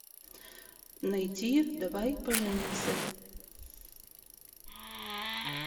найти давай поженимся